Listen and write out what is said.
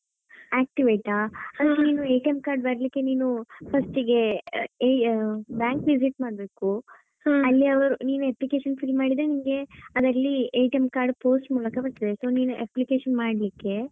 Activate ಆ ನೀನು card ಬರ್ಲಿಕ್ಕೆ ನೀನು first ಗೆ ಆ bank visit ಮಾಡಬೇಕು ಅಲ್ಲಿ ಅವರು ನೀನು application fill ಮಾಡಿದ್ರೆ ನಿಂಗೆ ಅದ್ರಲ್ಲಿ card post ಮೂಲಕ ಬರುತ್ತದೆ. So ನೀನು application ಮಾಡಲಿಕ್ಕೆ.